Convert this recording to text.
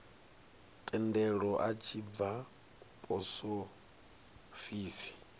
thendelo a tshi bva posofisi